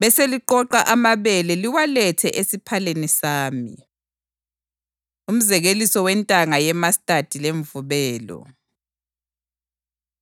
beseliqoqa amabele liwalethe esiphaleni sami.’ ” Umzekeliso Wentanga Yemastadi Lemvubelo